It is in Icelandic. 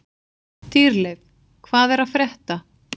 Dýrleif, hvað er að frétta?